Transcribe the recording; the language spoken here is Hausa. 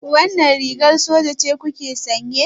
Wannan rigar soja ce kuke sanye?